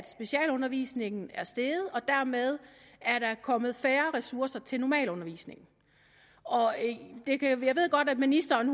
specialundervisningen er steget og dermed er kommet færre ressourcer til normalundervisningen jeg ved godt at ministeren